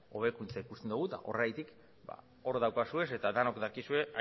hobekuntza ikusten dugu eta horregatik hor daukazue eta denok dakizue